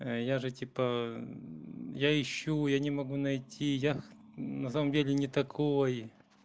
я же типа я ищу я не могу найти я на самом деле не такой